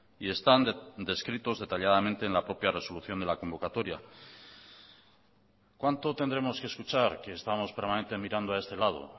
y están descritos detalladamente en la propia resolución de la convocatoria cuánto tendremos que escuchar que estamos permanente mirando a este lado